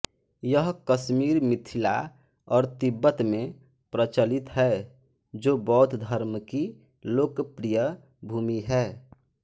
यह कश्मीर मिथिला और तिब्बत में प्रचलित है जो बौद्ध धर्म की लोकप्रिय भूमि है